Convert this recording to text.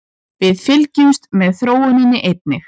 Við fylgjumst með þróuninni einnig